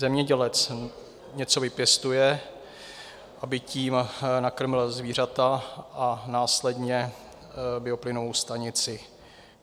Zemědělec něco vypěstuje, aby tím nakrmil zvířata, a následně bioplynovou stanici.